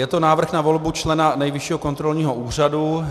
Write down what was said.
Je to návrh na volbu člena Nejvyššího kontrolního úřadu.